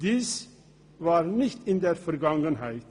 Das war nicht in der Vergangenheit.